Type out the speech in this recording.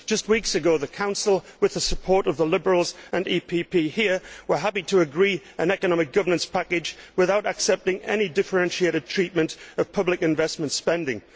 Just a few weeks ago the Council, with the support of the Liberals and EPP here, was happy to agree an economic governance package without accepting any differentiated treatment of public investment spending.